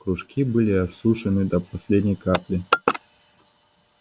кружки были осушены до последней капли